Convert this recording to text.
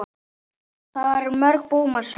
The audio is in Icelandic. Það er mörg búmanns raunin.